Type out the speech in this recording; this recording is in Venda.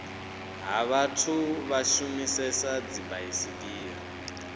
ha vhathu vha shumisesa dzibaisigila